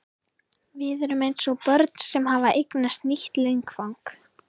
Við erum eins og börn sem hafa eignast nýtt leikfang.